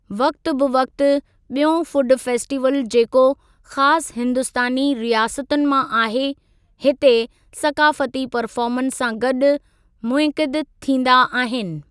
वक़्ति ब वक़्ति, ॿियों फुड फेस्टीवल जेको ख़ासि हिंदुस्तानी रियासतुनि मां आहे, हिते सक़ाफ़ती परफ़ार्मन्स सां गॾु मुनइक़िद थींदा आहिनि।